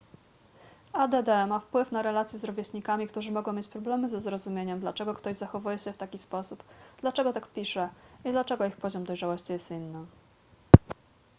add ma wpływ na relacje z rówieśnikami którzy mogą mieć problemy ze zrozumieniem dlaczego ktoś zachowuje się w taki sposób dlaczego tak pisze i dlaczego ich poziom dojrzałości jest inny